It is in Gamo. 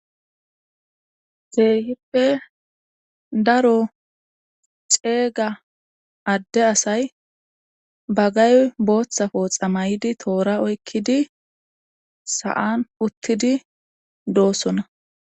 Keehippe daro ceega adde asay bagay booththafo xamaydi toora oykkidi sa7an uttidi doossona.